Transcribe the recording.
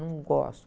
Não gosto.